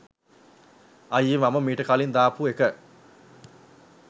අයියේ මම මීට කලින් දාපු එක